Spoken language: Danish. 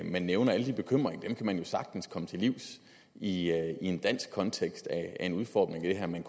man nævner alle de bekymringer kan man jo sagtens komme til livs i en dansk kontekst af en udformning af det her man